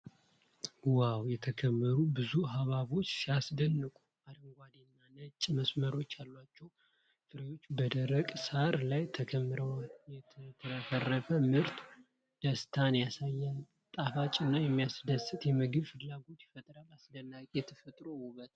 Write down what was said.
ዋው! የተከመሩ ብዙ ሐብሐቦች ሲያስደንቁ! አረንጓዴ እና ነጭ መስመሮች ያሏቸው ፍሬዎች በደረቅ ሣር ላይ ተከምረዋል። የተትረፈረፈ ምርት ደስታን ያሳያል። ጣፋጭና የሚያድስ የምግብ ፍላጎት ይፈጥራል። አስደናቂ የተፈጥሮ ውበት።